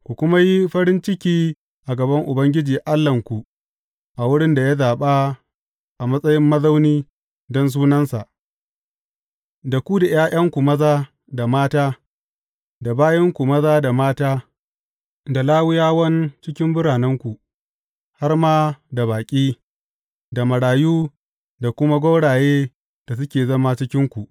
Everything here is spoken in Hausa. Ku kuma yi farin ciki a gaban Ubangiji Allahnku a wurin da ya zaɓa a matsayin mazauni don Sunansa, da ku da ’ya’yanku maza da mata, da bayinku maza da mata, da Lawiyawan cikin biranenku, har ma da baƙi, da marayu, da kuma gwaurayen da suke zama a cikinku.